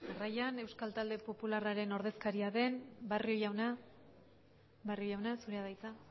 jarraian euskal talde popularraren ordezkaria den barrio jauna barrio jauna zurea da hitza